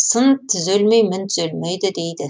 сын түзелмей мін түзелмейді дейді